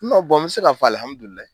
n be se ka fɔ